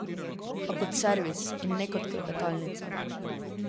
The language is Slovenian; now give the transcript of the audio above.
A kot servis in ne kot klepetalnica.